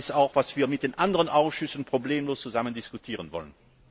Das ist auch, was wir mit den anderen Ausschüssen problemlos zusammen diskutieren wollen.